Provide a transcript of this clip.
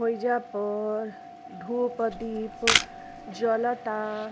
हेईजा पर धुप दिप जलता।